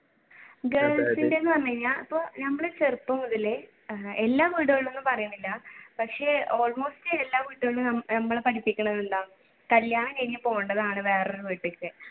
girls ന്റെന്നു പറഞ്ഞു കഴിഞ്ഞ ഇപ്പൊ ഞമ്മള് ചെറുപ്പം മുതൽ എല്ലാ വീടുകളിലും പറയണൊന്നില്ല പക്ഷെ almost എല്ലാ വീട്ടിലും നമ്മളെ പഠിപ്പിക്കുന്നത് എന്താ കല്യാണം കഴിഞ്ഞു പോവേണ്ടതാണ് വേറെയൊരു വീട്ടിലേക്ക്